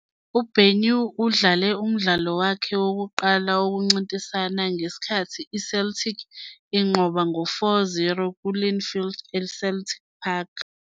UBenyu udlale umdlalo wakhe wokuqala wokuncintisana ngesikhathi iCeltic inqoba ngo 4-0 kuLinfield eCeltic Park.